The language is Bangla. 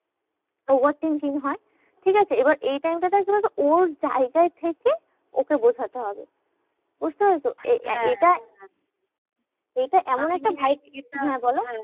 Over thinking হয়, ঠিকাছে? এবার এই time টা তে কি বলতো? ওর জায়গায় থেকে ওকে বোঝাতে হবে, বুঝতে পেরেছো? এটা এমন একটা